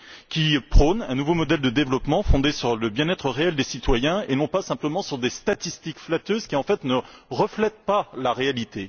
qui prône un nouveau modèle de développement fondé sur le bien être réel des citoyens, et pas seulement sur des statistiques flatteuses qui, en fait, ne reflètent pas la réalité.